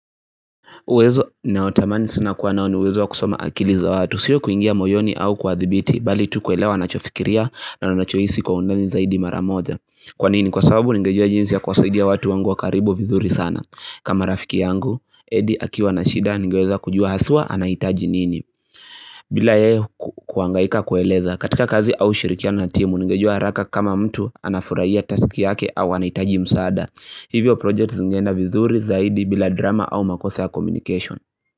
Uwezo ninaotamani sana kuwa nao ni uwezo kusoma akili za watu, sio kuingia moyoni au kuwadhibiti, bali tu kuelewa wanachofikiria na wanachohisi kwa undani zaidi mara moja. Kwa nini, kwa sababu ningejua jinsi ya kuwasaidia watu wangu wa karibu vizuri sana. Kama rafiki yangu, Edi akiwa na shida, ningeweza kujua haswa anahitaji nini. Bila yeye kuhangaika kueleza, katika kazi au ushirikiano na timu, ningejua haraka kama mtu anafurahia taski yake au anahitaji msaada. Hivyo projekti zingeenda vizuri zaidi bila drama au makose ya communication.